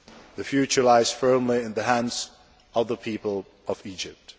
The future lies firmly in the hands of the people of Egypt.